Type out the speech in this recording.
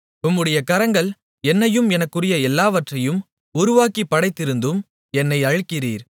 உம்முடைய கரங்கள் என்னையும் எனக்குரிய எல்லாவற்றையும் உருவாக்கிப் படைத்திருந்தும் என்னை அழிக்கிறீர்